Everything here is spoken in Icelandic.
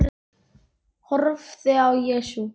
Horfði á Jesú.